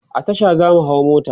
a Tasha zamu hau mota